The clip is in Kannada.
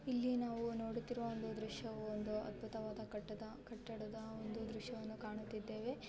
ಇಲ್ಲಿ ನಾವು ನೋಡುತಿರುವ ಒಂದು ದೃಶ್ಯವೂ ಅದ್ಬುತ ವಾದ ಕಟ್ಟದ ದೃಶ್ಯ ವನ್ನು ಕಾಣುತಿದ್ದೇವೆ.